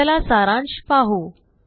चला सारांश पाहू